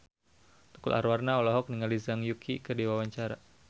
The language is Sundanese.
Tukul Arwana olohok ningali Zhang Yuqi keur diwawancara